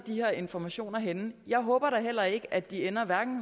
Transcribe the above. her informationer ender henne jeg håber heller ikke at de ender